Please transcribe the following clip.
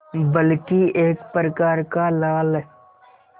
बल्कि एक प्रकार का लाल